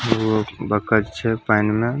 ओ बत्तख छै पैएन मे।